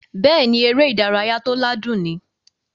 Bẹ́ẹ̀ni, eré ìdárayá tó ládùn ni